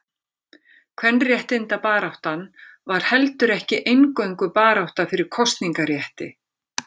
Kvenréttindabaráttan var heldur ekki eingöngu barátta fyrir kosningarétti.